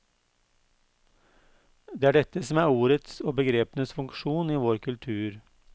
Det er dette som er ordets og begrepenes funksjon i vår kultur.